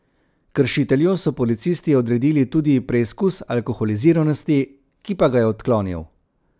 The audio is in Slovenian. Kršitelju so policisti odredili tudi preizkus alkoholiziranosti, ki pa ga je odklonil.